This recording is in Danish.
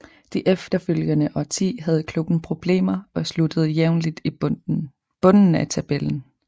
Det efterfølgende årti havde klubben problemer og sluttede jævnligt i bunden af tabellen